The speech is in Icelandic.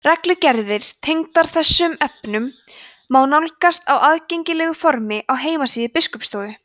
reglugerðir tengdar þessum efnum má nálgast á aðgengilegu formi á heimasíðu biskupsstofu